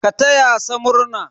Ka taya sa murna!